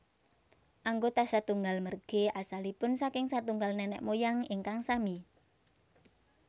Anggota satunggal merge asalipun saking satunggal nenek moyang ingkang sami